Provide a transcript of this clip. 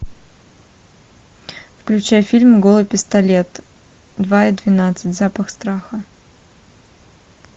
включай фильм голый пистолет два и двенадцать запах страха